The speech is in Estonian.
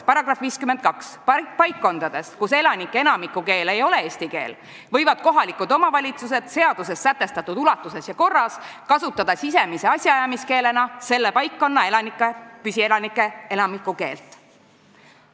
"§ 52: "Paikkondades, kus elanike enamiku keel ei ole eesti keel, võivad kohalikud omavalitsused seaduses sätestatud ulatuses ja korras kasutada sisemise asjaajamiskeelena selle paikkonna püsielanike enamiku keelt.